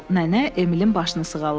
Nənə Emilin başını sığalladı.